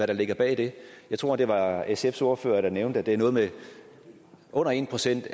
der ligger bag det jeg tror det var sfs ordfører der nævnte at det er noget med under en procent